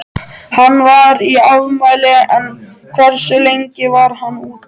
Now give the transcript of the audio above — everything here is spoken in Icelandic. Hann var í afmæli en hversu lengi var hann úti?